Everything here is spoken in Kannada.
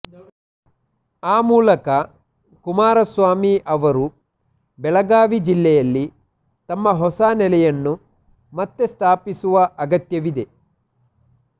ಆ ಮೂಲಕ ಕುಮಾರಸ್ವಾಮಿ ಅವರು ಬೆಳಗಾವಿ ಜಿಲ್ಲೆಯಲ್ಲಿ ತಮ್ಮ ಹೊಸ ನೆಲೆಯನ್ನು ಮತ್ತೇ ಸ್ಥಾಪಿಸುವ ಅಗತ್ಯವಿದೆ